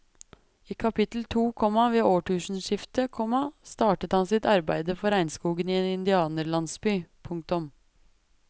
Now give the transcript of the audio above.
I kapittel to, komma ved årtusenskiftet, komma starter han sitt arbeide for regnskogen i en indianerlandsby. punktum